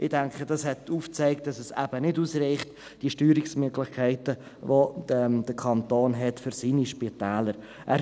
Ich denke, dies hat aufgezeigt, dass die Steuerungsmöglichkeiten, die der Kanton für seine Spitäler hat, nicht ausreichen.